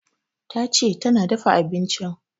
Tace tana dafa abincin